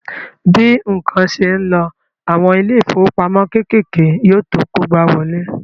Bí ǹkan ṣe ń lọ, àwọn ilé ìfowópamọ́ kékèké yóò tó kógbáwọlé